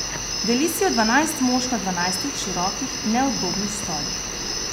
Deli si jo dvanajst mož na dvanajstih širokih, neudobnih stolih.